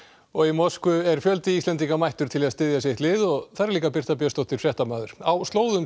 og í Moskvu er fjöldi Íslendinga mættur til að styðja sitt lið og þar er líka Birta Björnsdóttir fréttamaður á slóðum